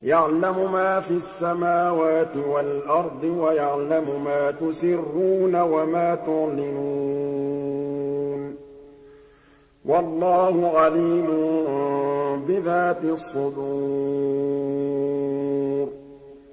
يَعْلَمُ مَا فِي السَّمَاوَاتِ وَالْأَرْضِ وَيَعْلَمُ مَا تُسِرُّونَ وَمَا تُعْلِنُونَ ۚ وَاللَّهُ عَلِيمٌ بِذَاتِ الصُّدُورِ